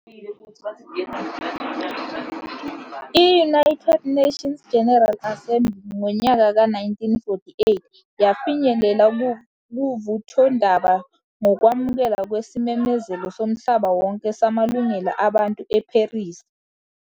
i-United Nations General Assembly ngonyaka ka 1948 yafinyelela kuvuthondaba ngokwamukelwa kwesimemezelo somhlaba wonke samalungelo abantu e-Paris.